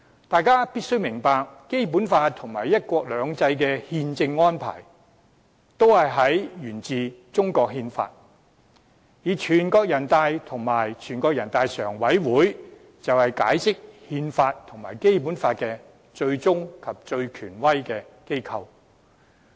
大家必須明白，《基本法》和"一國兩制"的憲政安排均沿於中國憲法，全國人民代表大會和人大常委會則是解釋憲法和《基本法》的最終及最權威機構。